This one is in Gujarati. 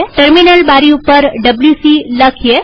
ટર્મિનલ બારી ઉપર ડબ્લ્યુસી લખીએ